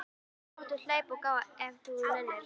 Annars máttu hlaupa og gá ef þú nennir.